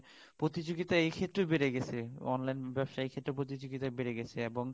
প্রতিযোগিতা এক্ষেত্রে বেড়ে গেছে এই online ব্যবসার ক্ষেত্রে প্রতিযোগিতা বেড়ে গেছে এবং